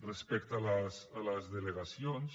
respecte a les delegacions